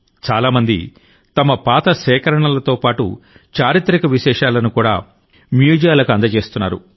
చాలా మంది తమ పాత సేకరణలతో పాటు చారిత్రక విశేషాలను మ్యూజియంలకు అందజేస్తున్నారు